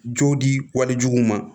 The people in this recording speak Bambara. Jow di wali jugu ma